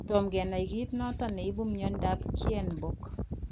Tom kenai kiit notok neibu myondab Kienbock